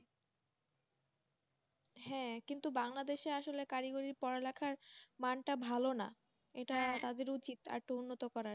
হ্যাঁ, কিন্তু বাংলাদেশে আসলে কারিগরি পড়া লেখার মান টা ভালো না। এটা তাদের উচ্ছিত আর একটু উন্নত করার।